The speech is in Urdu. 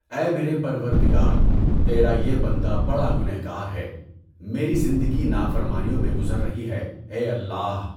اے میرے پروردگار، تیرا یہ بندا بڑا گنہگار ہے، میری زندگی نا فرمانیوں میں گزر رہی ہے، اے اللہ!